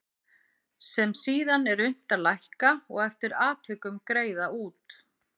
sem síðan er unnt að lækka og eftir atvikum greiða út.